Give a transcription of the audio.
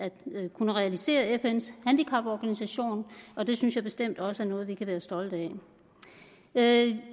kunne realisere fns handicapkonvention og det synes jeg bestemt også er noget vi kan være stolte af